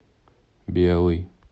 белый